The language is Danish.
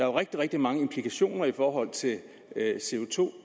jo rigtig rigtig mange implikationer i forhold til